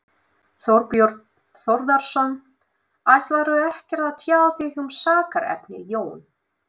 Þorbjörn Þórðarson: Ætlarðu ekkert að tjá þig um sakarefnið, Jón?